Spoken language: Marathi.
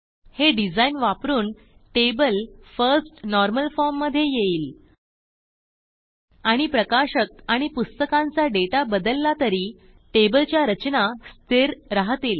हे डिझाइन वापरून टेबल फर्स्ट नॉर्मल फॉर्म मधे येईल आणि प्रकाशक आणि पुस्तकांचा डेटा बदलला तरी टेबलच्या रचना स्थिर राहतील